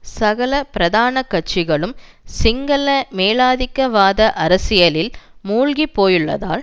சகல பிரதான கட்சிகளும் சிங்கள மேலாதிக்கவாத அரசியலில் மூழ்கி போயுள்ளதால்